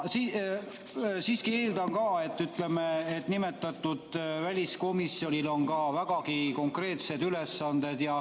Siiski eeldan, et nimetatud väliskomisjonil on ka vägagi konkreetsed ülesanded.